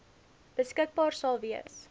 beskikbaar sal wees